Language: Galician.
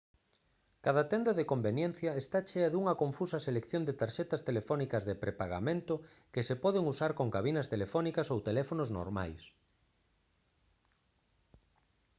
cada tenda de conveniencia está chea dunha confusa selección de tarxetas telefónicas de prepagamento que se poden usar con cabinas telefónicas ou teléfonos normais